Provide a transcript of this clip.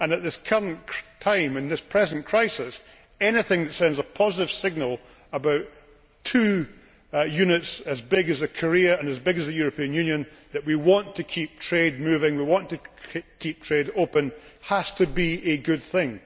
At this current time, in this present crisis, anything that sends a positive signal about two units as big as Korea and as big as the European Union that we want to keep trade moving and we want to keep trade open has to be a good thing.